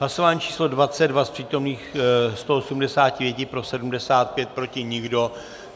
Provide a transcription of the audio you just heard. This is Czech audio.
Hlasování číslo 22, z přítomných 185 pro 75, proti nikdo.